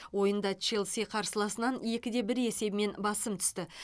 ойында челси қарсыласынан екі де бір есебімен басым түсті